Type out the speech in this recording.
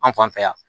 An fan fɛ yan